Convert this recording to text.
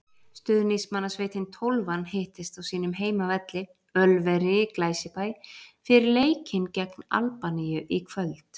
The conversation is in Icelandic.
Stuðningsmannasveitin Tólfan hittist á sínum heimavelli, Ölveri í Glæsibæ, fyrir leikinn gegn Albaníu í kvöld.